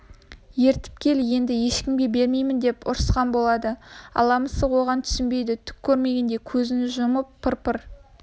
ертіп кел енді ешкімге бермеймін деп ұрысқан болады ала мысық оған түсінбейді түк көрмегендей көзін жұмып пыр-пыр